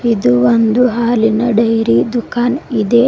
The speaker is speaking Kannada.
ಇದು ಒಂದು ಹಾಲಿನ ಡೈರಿ ದುಖಾನ್ ಇದೆ.